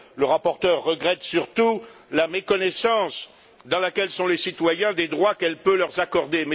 Le rapporteur regrette surtout la méconnaissance dans laquelle sont les citoyens eu égard aux droits qu'elle peut leur accorder.